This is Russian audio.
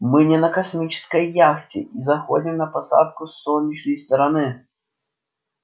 мы не на космической яхте и заходим на посадку с солнечной стороны